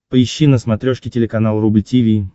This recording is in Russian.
поищи на смотрешке телеканал рубль ти ви